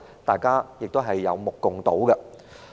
大家有目共睹。